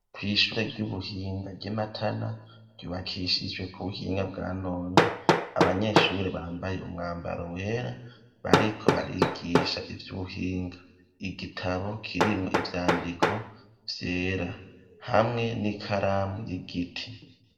kw,ishure ry'ubuhinga ry'imatana ryubakishijwe ku buhinga bwa none abanyeshuri bambaye umwambaro wera bariko barigisha ivy'ubuhinga igitabo kirimwo ivyandiko vyera hamwe n'ikaramu y'igiti.